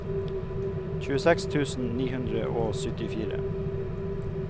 tjueseks tusen ni hundre og syttifire